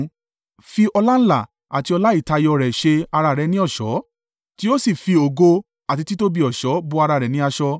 Fi ọláńlá àti ọlá ìtayọ rẹ̀ ṣe ara rẹ ní ọ̀ṣọ́, tí ó sì fi ògo àti títóbi ọ̀ṣọ́ bo ara ní aṣọ.